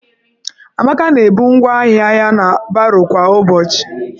Amaka na-ebu ngwaahịa ya na baro kwa ụbọchị.